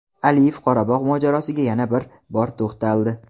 Aliyev Qorabog‘ mojarosiga yana bir bor to‘xtaldi.